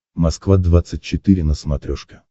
москва двадцать четыре на смотрешке